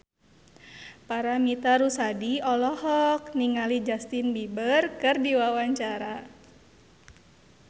Paramitha Rusady olohok ningali Justin Beiber keur diwawancara